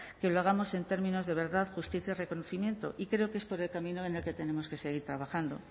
que lo hagamos en términos de verdad justicia y reconocimiento y creo que es por el camino en el que tenemos que seguir trabajando